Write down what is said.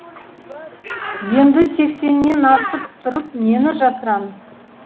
енді сексеннен асып тұрып нені жасырамыз